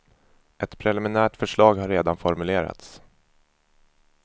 Ett preliminärt förslag har redan formulerats.